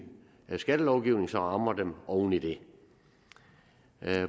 skattelovgivning som rammer dem oven i det